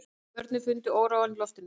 Börnin fundu óróann í loftinu.